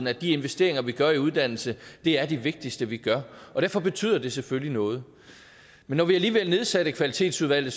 at de investeringer vi gør i uddannelse er de vigtigste vi gør og derfor betyder det selvfølgelig noget men når vi alligevel nedsatte kvalitetsudvalget